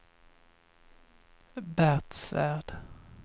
Bert Svärd